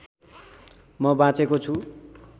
म बाँचेको छु